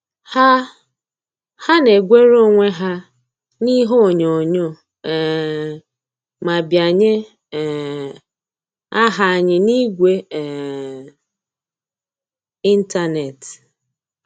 Ha Ha na-egwere onwe ha n'ihe onyoghonyoo um ma bianye um aha anyị n'igwe um ịntanetị